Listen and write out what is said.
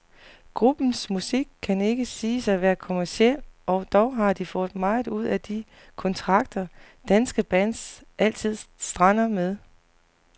Gruppens musik kan ikke siges at være kommerciel, og dog har de fået meget ud af de kontrakter, danske bands altid strander med.